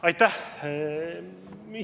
Aitäh!